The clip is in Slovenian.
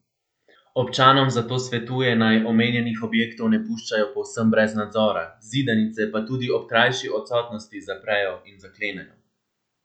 Občanom zato svetuje, naj omenjenih objektov ne puščajo povsem brez nadzora, zidanice pa tudi ob krajši odsotnosti zaprejo in zaklenejo.